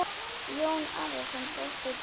Jón Arason brosti dauft.